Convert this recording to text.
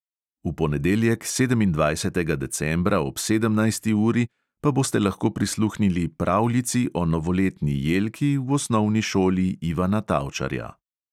V ponedeljek, sedemindvajsetega decembra, ob sedemnajsti uri pa boste lahko prisluhnili pravljici o novoletni jelki v osnovni šoli ivana tavčarja.